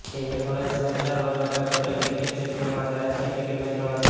તે એક વર્ષ બાદ સરદાર વલ્લભભાઈ પટેલ ક્રિકેટ સ્ટેડિયમમાં આંતરરાષ્ટ્રીય ક્રિકેટ મેચ રમાશે